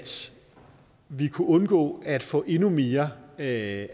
vi kunne undgå at få endnu mere af